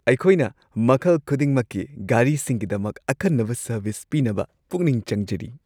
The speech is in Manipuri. ꯑꯩꯈꯣꯏꯅ ꯃꯈꯜ ꯈꯨꯗꯤꯡꯃꯛꯀꯤ ꯒꯥꯔꯤꯁꯤꯡꯒꯤꯗꯃꯛ ꯑꯈꯟꯅꯕ ꯁꯔꯚꯤꯁ ꯄꯤꯅꯕ ꯄꯨꯛꯅꯤꯡ ꯆꯪꯖꯔꯤ ꯫